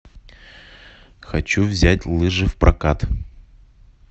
хочу взять лыжи в прокат